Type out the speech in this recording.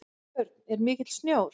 Björn: Er mikill sjór?